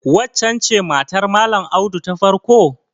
Waccen ce matar Malam Audu ta farko?